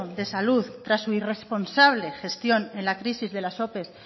de salud tras su irresponsable gestión en la crisis de las ope